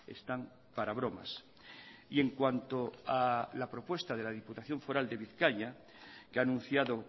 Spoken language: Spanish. están para bromas y en cuanto a la propuesta de la diputación foral de bizkaia que ha anunciado